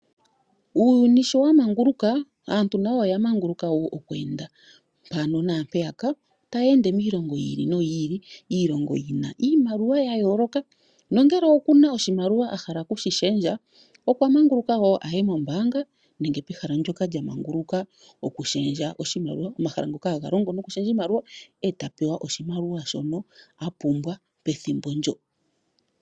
Uuyuni sho wa manguluka, aantu nayi oya manguluka wo okweenda mpano naampeyaka, tayeende miilongo yi ili, iilongo yina iimaliwa ya yooloka. Nongele wo okuna oshimaliwa a hala okushi shendja okwa manguluka wo aye mombaanga nenge pehala ndoka lya manguluka oku shendja oshimaliwa, omahala ngoka haga longo noku shendja oshimaliwa eta pewa oshimaliwa shono a pumbwa pethimbo ndo.